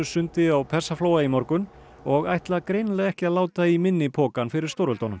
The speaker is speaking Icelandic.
sundi á Persaflóa í morgun og ætla greinilega ekki að láta í minni pokann fyrir stórveldunum